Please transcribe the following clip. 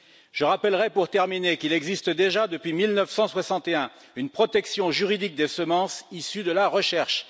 Je rappellerai pour terminer qu'il existe déjà depuis 1961 une protection juridique des semences issues de la recherche.